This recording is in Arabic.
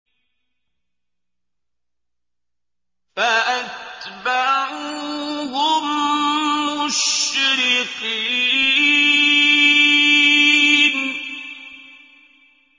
فَأَتْبَعُوهُم مُّشْرِقِينَ